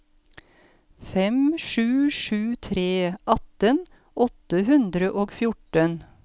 fem sju sju tre atten åtte hundre og fjorten